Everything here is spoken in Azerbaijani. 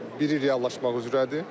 Biri reallaşmaq üzrədir.